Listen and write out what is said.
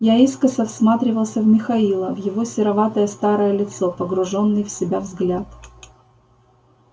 я искоса всматривался в михаила в его сероватое старое лицо погруженный в себя взгляд